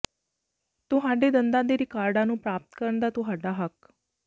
ਤੁਹਾਡੇ ਦੰਦਾਂ ਦੇ ਰਿਕਾਰਡਾਂ ਨੂੰ ਪ੍ਰਾਪਤ ਕਰਨ ਦਾ ਤੁਹਾਡਾ ਹੱਕ